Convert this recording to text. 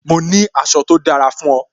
Mo ní aṣọ tó dára fún o